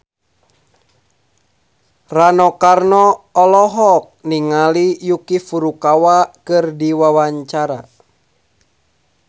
Rano Karno olohok ningali Yuki Furukawa keur diwawancara